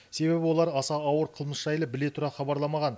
себебі олар аса ауыр қылмыс жайлы біле тұра хабарламаған